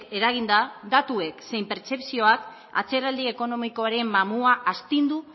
eraginda datuek zein pertzepzioak atzeraldi ekonomikoaren mamua astindu